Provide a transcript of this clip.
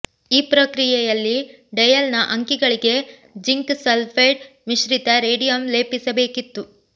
ಈ ಪ್ರಕ್ರಿಯೆಯಲ್ಲಿ ಡಯಲ್ನ ಅಂಕಿಗಳಿಗೆ ಜಿಂಕ್ ಸಲ್ಫೈಡ್ ಮಿಶ್ರಿತ ರೇಡಿಯಂ ಲೇಪಿಸಬೇಕಿತ್ತು